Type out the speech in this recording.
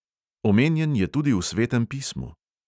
Omenjen je tudi v svetem pismu.